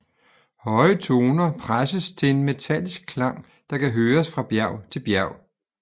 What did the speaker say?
Høje toner presses til en metallisk klang der kan høres fra bjerg til bjerg